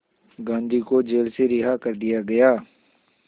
गांधी को जेल से रिहा कर दिया गया